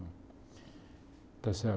Está certo?